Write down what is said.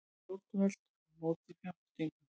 Stjórnvöld á móti fjárfestingu